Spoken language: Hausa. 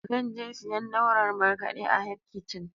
Zan je siyan naurar markaɗe a Hec kichin